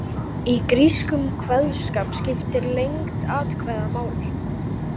Í grískum kveðskap skiptir lengd atkvæða máli.